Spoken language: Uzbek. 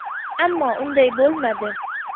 Ammo unday bo‘lmadi.